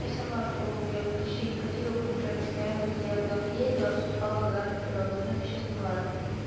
и сама в школу я почти не ходила потому что я постоянно везде куда-то ездила выступала так далее подобно но это сейчас неважно